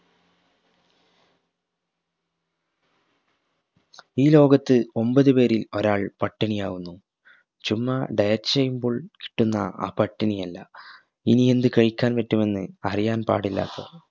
ഈ ലോകത്ത് ഒമ്പതു പേരിൽ ഒരാൾ പട്ടിണിയാവുന്നു ചുമ്മാ diet ചെയ്യുമ്പോൾ ട്ടുന്ന ആ പട്ടിണിയല്ല ഇനിയെന്ത് കഴിക്കാൻ പറ്റുമെന്ന് അറിയാൻ പാടില്ലാത്ത